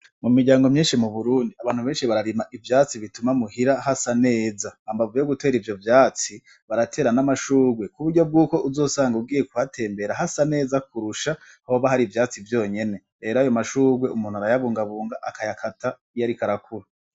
Mu miryango myishi mu Burundi abantu beshi bararima ivyati bituma mu hira hasa neza hambavu yo gutera ivyo vyatsi baratera n'amashurwe kuburyo bwuko uzosanga ugiye kuhatembera hasa neza kurusha hoba hari ivyatsi vyonyene rero ayo mashurwe umuntu arayabungabunga akayakata iyo ariko arakura.